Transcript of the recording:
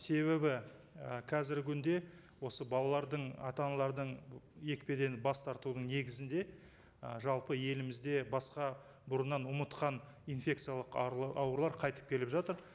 себебі і қазіргі күнде осы балалардың ата аналардың екпеден бас тартудың негізінде ы жалпы елімізде басқа бұрыннан ұмытқан инфекциялық аурулар қайтып келіп жатыр